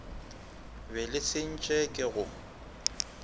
be le sentše ke go